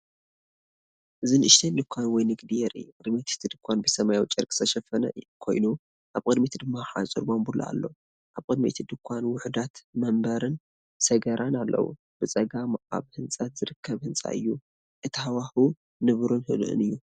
እዚ ንእሽቶ ድኳን ወይ ንግዲ የርኢ። ቅድሚት እቲ ድኳን ብሰማያዊ ጨርቂ ዝተሸፈነ ኮይኑ፡ኣብ ቅድሚት ድማ ሓጹር ባምቡላ ኣሎ። ኣብ ቅድሚ እቲ ድኳን ውሑዳት መንበርን ሰገራን ኣለዉ። ብጸጋም ኣብ ህንጸት ዝርከብ ህንጻ እዩ፣ እቲ ሃዋህው ንቡርን ህዱእን እዩ።